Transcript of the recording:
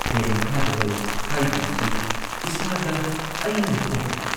ꯐꯦꯟ ꯃꯈꯥꯗ ꯂꯩ ꯍꯥꯏꯗꯨꯅꯁꯨ ꯏꯁꯥꯗ ꯑꯏꯪꯕ ꯐꯥꯎꯗꯦ ꯫